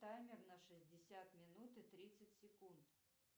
таймер на шестьдесят минут и тридцать секунд